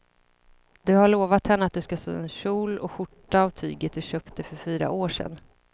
Du har lovat henne att du ska sy en kjol och skjorta av tyget du köpte för fyra år sedan.